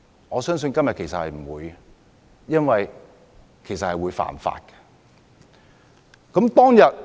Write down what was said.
我相信他們不會這樣做，因為這是違法的事。